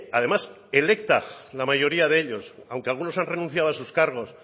además electa la mayoría de ellos aunque algunos han renunciado a sus cargos